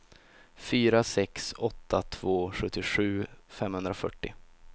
fyra sex åtta två sjuttiosju femhundrafyrtio